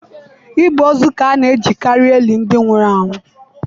Igbe ozu ka a na-ejikarị eli ndị nwụrụ anwụ.